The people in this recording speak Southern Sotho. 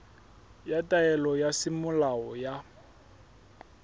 ya taelo ya semolao ya